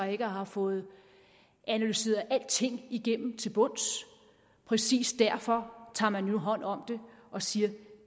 ikke har fået analyseret alting igennem til bunds præcis derfor tager man jo hånd om det og siger